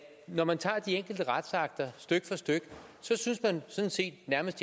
når man tager de enkelte retsakter stykke for stykke synes man sådan set nærmest